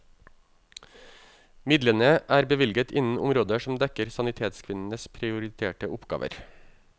Midlene er bevilget innen områder som dekker sanitetskvinnenes prioriterte oppgaver.